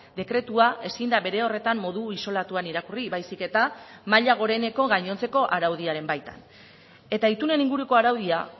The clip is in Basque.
dekretua ezin da bere horretan modu isolatuan irakurri baizik eta maila goreneko gainontzeko araudiaren baitan eta itunen inguruko araudia